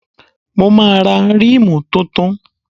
Mo máa ra rímù tuntun.